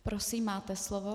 Prosím, máte slovo.